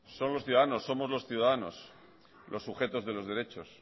somos los ciudadanos los sujetos de los derechos